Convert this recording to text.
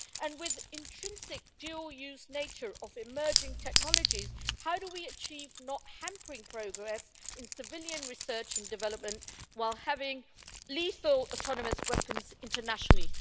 and with the intrinsic dual use nature of emerging technologies, how do we achieve not hampering progress in civilian research and development while having lethal autonomous weapons internationally?